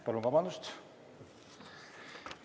Palun vabandust!